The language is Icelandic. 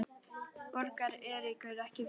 Borgar Eiríkur ekki vel?